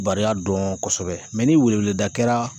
Barika dɔn kosɛbɛ mɛ ni weleweleda kɛra